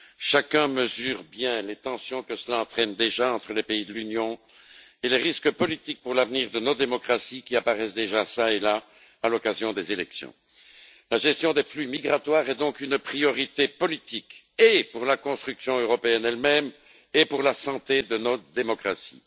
Chacun mesure bien les tensions que cela entraîne déjà entre les pays de l'Union et les risques politiques pour l'avenir de nos démocraties, qui apparaissent déjà çà et là, à l'occasion des élections. La gestion des flux migratoires est donc une priorité politique, et pour la construction européenne elle même et pour la santé de notre démocratie.